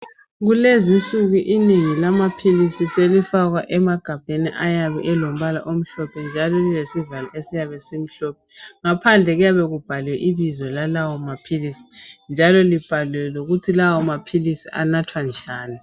Kulezi insuku inengi lamaphilisi selifakwa emagabheni ayabe elombala omhlophe njalo lilesivalo esiyabe simhlophe. Ngaphandle kuyabe kubhaliwe ibizo lalawo maphilisi njalo libhaliwe lokuthi lawo maphilisi anathwa njani.